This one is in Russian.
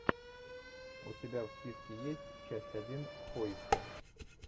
у тебя в списке есть часть один в поиске